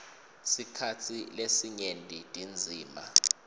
sikhatsi lesinyenti tindzima